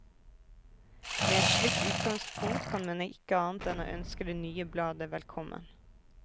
Med et slikt utgangspunkt kan man ikke annet enn å ønske det nye bladet velkommen.